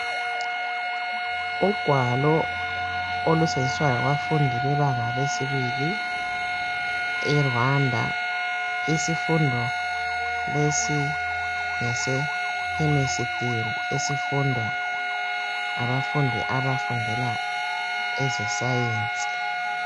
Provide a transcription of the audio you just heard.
Ugwalo olusetshenziswa ngabafundi bebanga lesibili eRwanda isifundo lesi ngesekhemesitiri esifundwa ngabafundi abafundela ezesayensi.